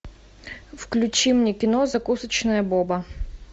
включи мне кино закусочная боба